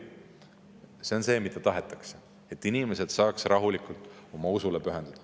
See on see, mida tahetakse, et inimesed saaks rahulikult oma usule pühenduda.